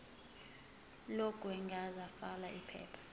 lokwengeza fal iphepha